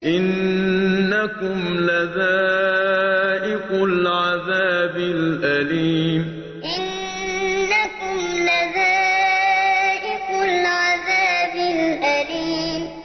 إِنَّكُمْ لَذَائِقُو الْعَذَابِ الْأَلِيمِ إِنَّكُمْ لَذَائِقُو الْعَذَابِ الْأَلِيمِ